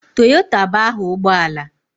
Toyota bụ aha ụgbọ ala.